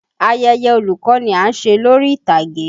Ayeye olùkọ́ ni à ń ṣe lórí ìtàgé.